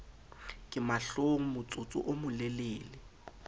ka mahlong motsotso o molelele